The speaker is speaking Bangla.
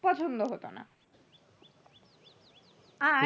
পছন্দ হতো না আর